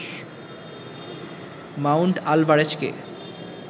Mount আলভারেজকে